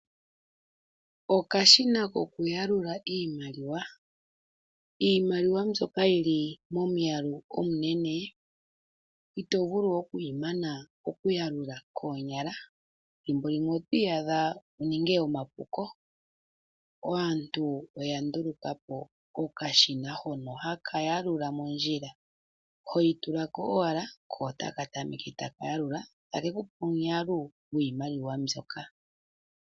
Iimaliwa mbyoka yili momwaalu omunene ìto vulu kumana oku yiyalula noonyala, thimbo limwe otwiiyadha to ningi omapuko. Onkene aantu oya ndulukapo okashina hono ha kayalula mondjila, oho tulako ashike iimaliwa etaka tameke okuyalula nuuna kamana ohaku ulike kutya iimaliwa ingapi.